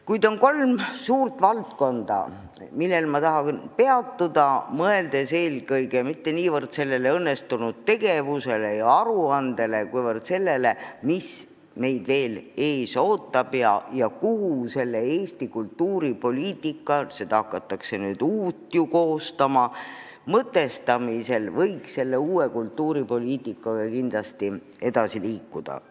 Kuid on kolm suurt valdkonda, millel ma tahan peatuda, mõeldes eelkõige mitte niivõrd sellele õnnestunud tegevusele ja aruandele, kuivõrd sellele, mis meid veel ees ootab ja mis suunas võiks Eesti kultuuripoliitika mõtestamisel – hakatakse ju ka uut kava koostama – kindlasti edasi liikuda.